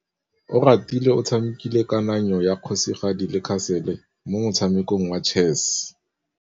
Oratile o tshamekile kananyô ya kgosigadi le khasêlê mo motshamekong wa chess.